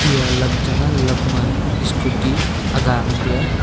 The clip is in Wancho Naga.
eya lam chang a lam ma scooty aga ngan teya.